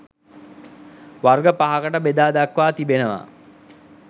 වර්ග පහකට බෙදා දක්වා තිබෙනවා